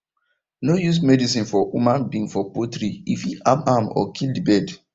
no use medicine for human being for poultry e fit harm am or kill the bird